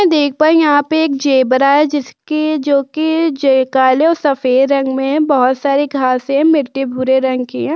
देख भाई यहां पे एक जेब्रा है। जिसके जोकि जयकाले और सफेद रंग में है। बोहोत सारी घासे मिट्टी भूरे रंग की हैं।